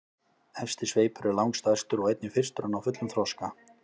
Efsti sveipur er langstærstur og einnig fyrstur að ná fullum þroska.